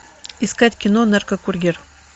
искать кино наркокурьер